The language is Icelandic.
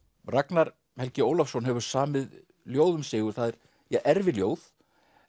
Ragnar Helgi Ólafsson hefur samið ljóð um Sigurð það er erfiljóð